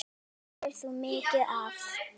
Bæði gerðir þú mikið af.